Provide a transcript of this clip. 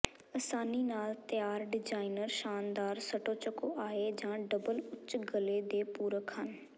ਆਸਾਨੀ ਨਾਲ ਤਿਆਰ ਡਿਜ਼ਾਇਨਰ ਸ਼ਾਨਦਾਰ ਸਟੋਚਕੋਆਏ ਜਾਂ ਡਬਲ ਉੱਚ ਗਲੇ ਦੇ ਪੂਰਕ ਹਨ